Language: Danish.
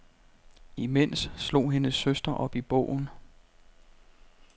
Imens slog hendes søster op i bogen.